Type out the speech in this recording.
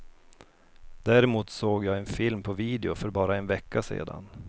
Däremot såg jag en film på video för bara en vecka sedan.